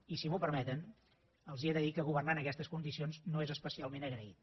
i si m’ho permeten els he de dir que governar en aquestes condicions no és especialment agraït